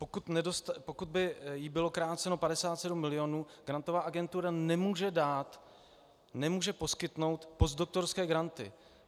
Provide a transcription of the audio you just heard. Pokud by jí bylo kráceno 57 mil., Grantová agentura nemůže dát, nemůže poskytnout postdoktorské granty.